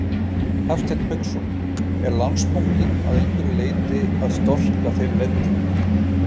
Hafsteinn Hauksson: Er Landsbankinn að einhverju leyti að storka þeirri lendingu?